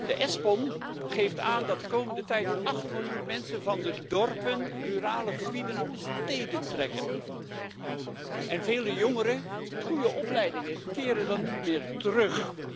Het Espon geeft aan dat de komende tijd 8 miljoen mensen van de dorpen, rurale gebieden naar de steden trekken, en vele jongeren met goede opleidingen keren dan niet meer terug.